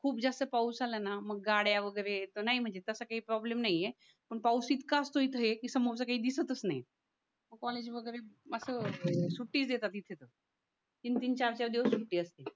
खूप जास्त पाऊस आला ना मग गाड्या वगैरे नाही म्हणजे तसं काही प्रॉब्लेम नाहीये पण पाऊस इतका असतो इथे की समोरचा काही दिसतच नाही कॉलेज वगैरे अस सुट्टी देतात इथे तर तीन तीन चार चार दिवस सुट्टी असते